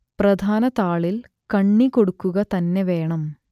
പ്രധാന താളിൽ കണ്ണി കൊടുക്കുക തന്നെ വേണം